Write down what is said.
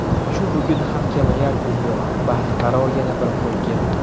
Shu bugun ham kamayar dunyo Baxtiqaro yana bir qo‘yga.